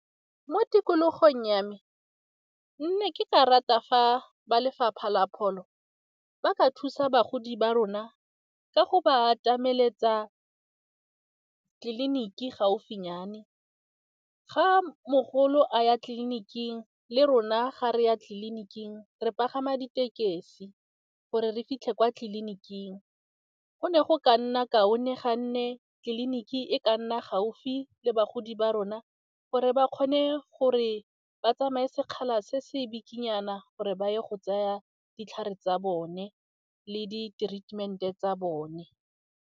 Mo tikologong ya me, nne ke ka rata fa ba lefapha la pholo ba ka thusa bagodi ba rona ka go ba atameletsa tleliniki gaufinyane, ga mogolo a ya tleliniking le rona ga re ya tleliniking re pagama ditekesi gore re fitlhe kwa tliliniking. Go ne go ka nna kaone ga nne tliliniki e e ka nna gaufi le bagodi ba rona gore ba kgone gore ba tsamaya sekgala se se bikinyana gore ba ye go tsaya ditlhare tsa bone le di-treatment-e tsa bone.